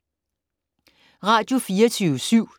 Radio24syv